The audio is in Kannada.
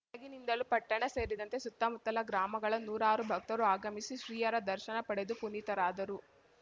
ಬೆಳಗಿನಿಂದಲೂ ಪಟ್ಟಣ ಸೇರಿದಂತೆ ಸುತ್ತಮುತ್ತಲ ಗ್ರಾಮಗಳ ನೂರಾರು ಭಕ್ತರು ಆಗಮಿಸಿ ಶ್ರೀಯರ ದರ್ಶನ ಪಡೆದು ಪುನೀತರಾದರು